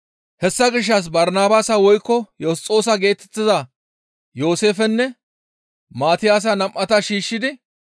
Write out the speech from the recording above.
Hessa gishshas Barsabaasa woykko Yosxoosa geetettiza Yooseefenne Maatiyaasa nam7ata shiishshidi,